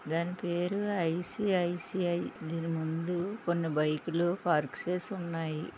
దాని పేరు ఐ.సి.ఐ.సి.ఐ. దీని ముందు కొన్ని బైకు లు పార్క్ చేసి ఉన్నాయి.